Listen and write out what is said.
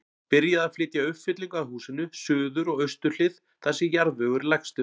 Byrjað að flytja uppfyllingu að húsinu, suður og austur hlið, þar sem jarðvegur er lægstur.